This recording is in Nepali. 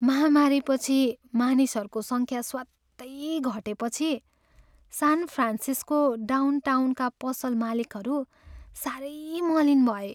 महामारीपछि मानिसहरूको सङ्ख्या स्वात्तै घटेपछि सान फ्रान्सिस्को डाउनटाउनका पसल मालिकहरू साह्रै मलिन भए।